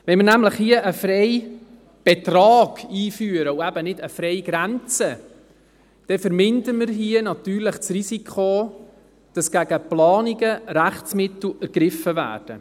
Wenn wir hier einen Freibetrag einführen und nicht eine Freigrenze, vermindern wir hier das Risiko, dass gegen Planungen Rechtsmittel ergriffen werden.